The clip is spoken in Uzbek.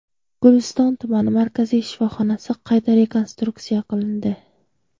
Guliston tumani markaziy shifoxonasi qayta rekonstruksiya qilindi.